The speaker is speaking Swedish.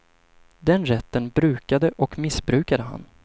Den rätten brukade och missbrukade han.